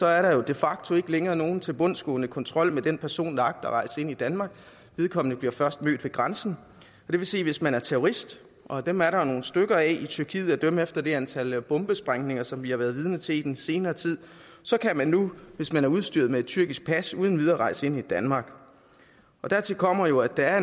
er der de facto ikke længere nogen tilbundsgående kontrol med den person der agter at rejse ind i danmark vedkommende bliver først mødt ved grænsen det vil sige at hvis man er terrorist og dem er der jo nogle stykker af i tyrkiet at dømme efter det antal bombesprængninger som vi har været vidne til i den senere tid så kan man nu hvis man er udstyret med tyrkisk pas uden videre rejse ind i danmark dertil kommer jo at der er